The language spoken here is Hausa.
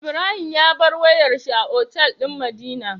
Ibrahim ya bar wayar shi a otal din madina